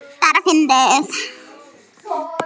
Bara fyndið.